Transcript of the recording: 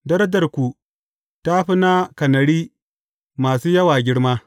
Darajarku ta fi na kanari masu yawa girma.